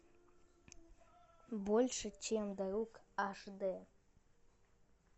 больше чем друг аш д